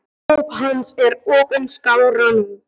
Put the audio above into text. Óp hans er opin skárra nú.